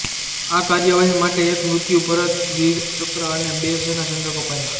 આ કાર્યવાહી માટે એક મૃત્યુપર્યંત વીર ચક્ર અને બે સેના ચંદ્રક અપાયા